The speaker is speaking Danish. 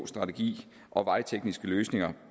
strategi og vejtekniske løsninger